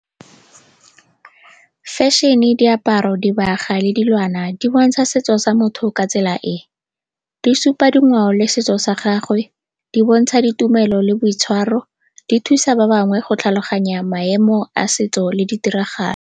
Fashion-e, diaparo, dibaga le dilwana di bontsha setso sa motho ka tsela e, di supa dingwao le setso sa gagwe, di bontsha ditumelo le boitshwaro, di thusa ba bangwe go tlhaloganya maemo a setso le ditiragalo.